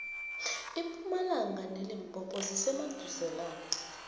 impumalanga nelimpopo zisemaduzelana